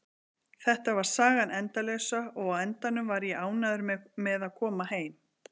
Þetta var sagan endalausa og á endanum var ég ánægður með að koma heim.